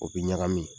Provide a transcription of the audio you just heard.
O bi ɲagami